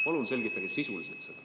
Palun selgitage sisuliselt!